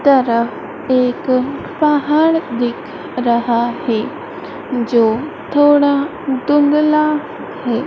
तरफ एक पहाड़ दिख रहा है जो थोड़ा धुंधला है।